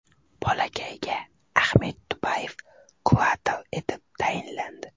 Bolakayga Ahmed Dudayev kurator etib tayinlandi.